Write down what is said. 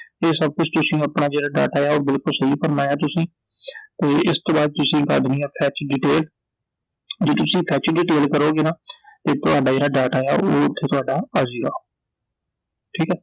ਇਹ ਸਭ ਕੁਛ ਜਿਹੜਾ ਥੋੜਾ data ਏ ਆ ਉਹ ਬਿਲਕੁਲ ਸਹੀ ਭਰਨਾ ਤੁਸੀਂ ਤੇ ਇਸ ਤੋਂ ਬਾਅਦ ਤੁਸੀਂ ਭਰ ਦੇਣੀ ਆ fetch detail I ਜਦੋਂ ਤੁਸੀਂ fetch detail ਭਰੋਂਗੇ ਨਾ ਤੇ ਤੁਹਾਡਾ ਜਿਹੜਾ data ਏ ਆ ਉਹ ਓਥੇ ਤੁਹਾਡਾ ਆਜੇਗਾ , ਠੀਕ ਐ I